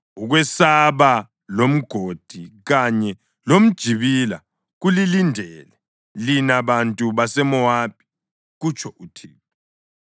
Ukwesaba lomgodi kanye lomjibila kulilindele lina bantu baseMowabi,” kutsho uThixo.